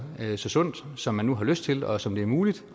så sundt som man nu har lyst til og som det er muligt